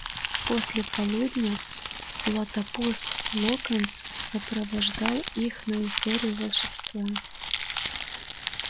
после полудня златопуст локонс сопровождал их на историю волшебства